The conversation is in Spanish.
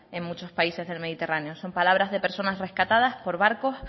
en muchos países del mediterráneo son palabras de personas rescatadas por barcos